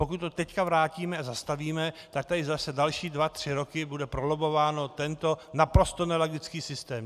Pokud to teď vrátíme a zastavíme, tak tady zase další dva tři roky bude prolobbován tento naprosto nelogický systém.